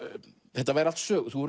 þetta væru allt sögur þú